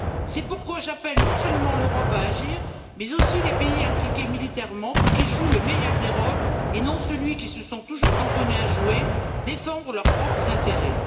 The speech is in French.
C'est pourquoi j'appelle non seulement l'Europe à agir, mais aussi les pays impliqués militairement, pour qu'ils jouent le meilleur des rôles et non celui qu'ils se sont toujours cantonnés à jouer c'est à dire défendre leurs propres intérêts.